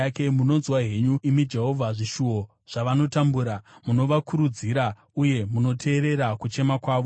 Munonzwa henyu, imi Jehovha, zvishuvo zvavanotambura; munovakurudzira, uye munoteerera kuchema kwavo,